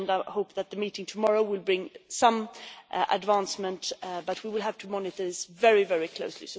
I hope that the meeting tomorrow will bring some advancement, but we will have to monitor this very, very closely.